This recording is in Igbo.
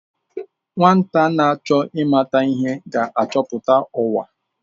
Nwata na-achọ ịmata ihe ga-achọpụta ụwa.